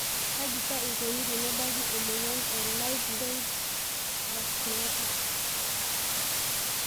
Kaji see eikoni tenebaki emoyian e Livedoid vasculopathy?